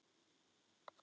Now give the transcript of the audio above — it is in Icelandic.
Þá vissi hún að